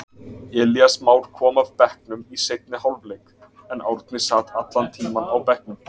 Elías Már kom af bekknum í seinni hálfleik, en Árni sat allan tímann á bekknum.